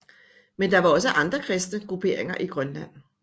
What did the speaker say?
Men der var også andre kristne grupperinger i Grønland